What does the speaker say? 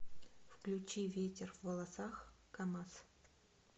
включи ветер в волосах камазз